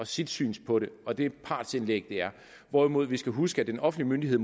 sit syn på det og det partsindlæg det er hvorimod vi skal huske at en offentlig myndighed